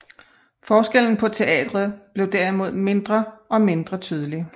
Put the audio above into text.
Forskellen på teatret blev derimod mindre og mindre tydelig